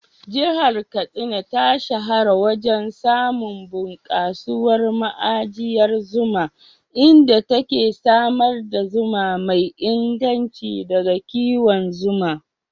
Jihar Katsina ta shahara wajen samun bunkasuwar ma'ajiyar zuma, inda take samar da zuma mai inganci daga kiwon zuma.